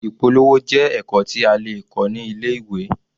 Ìpolówó jẹ́ ẹ̀kọ́ tí a lè kọ́ ní ilé-ìwé.